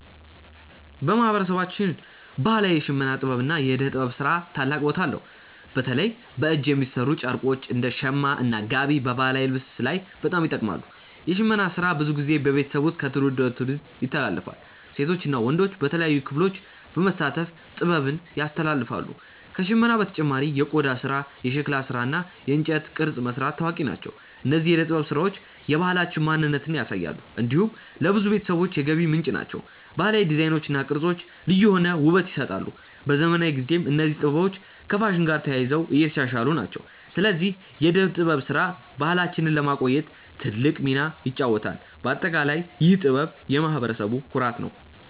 በማህበረሰባችን ባህላዊ የሽመና ጥበብ እና የእደ ጥበብ ስራ ታላቅ ቦታ አለው። በተለይ በእጅ የሚሠሩ ጨርቆች እንደ “ሸማ” እና “ጋቢ” በባህላዊ ልብስ ላይ በጣም ይጠቀማሉ። የሽመና ስራ ብዙ ጊዜ በቤተሰብ ውስጥ ከትውልድ ወደ ትውልድ ይተላለፋል። ሴቶች እና ወንዶች በተለያዩ ክፍሎች በመሳተፍ ጥበቡን ያስተላልፋሉ። ከሽመና በተጨማሪ የቆዳ ስራ፣ የሸክላ ስራ እና የእንጨት ቅርጽ መስራት ታዋቂ ናቸው። እነዚህ የእደ ጥበብ ስራዎች የባህላችንን ማንነት ያሳያሉ። እንዲሁም ለብዙ ቤተሰቦች የገቢ ምንጭ ናቸው። ባህላዊ ዲዛይኖች እና ቅርጾች ልዩ የሆነ ውበት ይሰጣሉ። በዘመናዊ ጊዜም እነዚህ ጥበቦች ከፋሽን ጋር ተያይዞ እየተሻሻሉ ናቸው። ስለዚህ የእደ ጥበብ ስራ ባህላችንን ለማቆየት ትልቅ ሚና ይጫወታል። በአጠቃላይ ይህ ጥበብ የማህበረሰቡ ኩራት ነው።